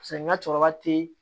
Paseke n ka cɛkɔrɔba tɛ